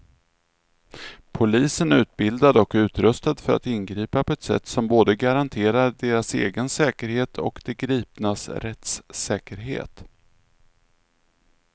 Polisen är utbildad och utrustad för att ingripa på ett sätt som både garanterar deras egen säkerhet och de gripnas rättssäkerhet.